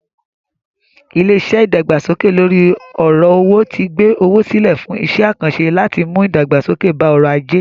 Ilé-iṣẹ́ ìdàgbàsókè lóri ọ̀rọ̀ owó ti gbé owó sílẹ̀ fún iṣẹ́-àkànṣẹ láti mú ìdàgbàsókè bá ọrọ̀-ajé.